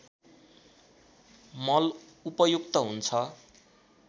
मल उपयुक्त हुन्छ